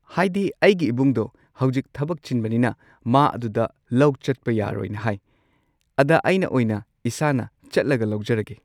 ꯍꯥꯏꯗꯤ ꯑꯩꯒꯤ ꯏꯕꯨꯡꯗꯣ ꯍꯧꯖꯤꯛ ꯊꯕꯛ ꯆꯤꯟꯕꯅꯤꯅ ꯃꯥ ꯑꯗꯨꯗ ꯂꯧ ꯆꯠꯄ ꯌꯥꯔꯣꯏꯅ ꯍꯥꯏ ꯑꯗ ꯑꯩꯅ ꯑꯣꯏꯅ ꯏꯁꯥꯅ ꯆꯠꯂꯒ ꯂꯧꯖꯔꯒꯦ꯫